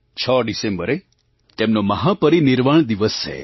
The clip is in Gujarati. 6 ડિસેમ્બરે તેમનો મહાપરિનિર્વાણ દિવસ છે